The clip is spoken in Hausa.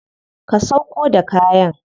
Ka sauƙo da kayan.